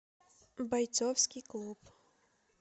бойцовский клуб